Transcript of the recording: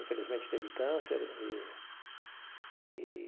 Infelizmente, teve câncer e e.